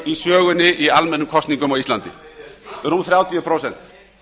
í sögunni í almennum kosningum á íslandi rúm þrjátíu prósent